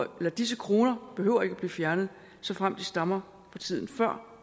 disse kroner behøver ikke at blive fjernet såfremt de stammer fra tiden før